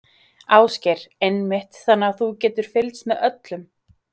Ásgeir: Einmitt, þannig að þú getur fylgst með öllum?